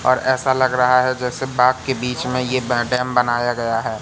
और ऐसा लगा रहा है जैसे बाग के बीच में ये डैम बनाया गया है।